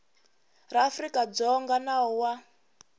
ra afrika dzonga nawu wa